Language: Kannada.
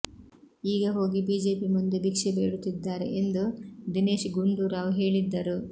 ಈಗ ಹೋಗಿ ಬಿಜೆಪಿ ಮುಂದೆ ಭಿಕ್ಷೆ ಬೇಡುತ್ತಿದ್ದಾರೆ ಎಂದು ದಿನೇಶ್ ಗುಂಡೂರಾವ್ ಹೇಳಿದ್ದರು